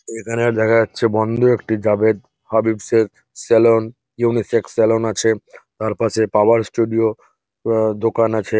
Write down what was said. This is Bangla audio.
এইখানে দেখা যাচ্ছে বন্ধ একটি জাভেদ হাবীবস এর সেলুন উনিসেক্স সেলুন আছে তার পাশে পাওয়ার ষ্টুডিও ওও দোকান আছে।